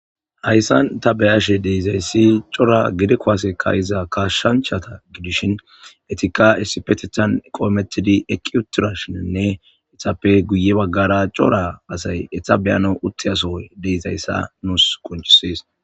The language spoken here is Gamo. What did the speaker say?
Hayssan ta beyashe deizayssi cora gide koasekka iza kashshanchata gidishin etika essipetethan qoometidi eqqi uttira shininne itappe guye baggara cora asay etabeyano uttiyaso deizayssa nuus qonchisis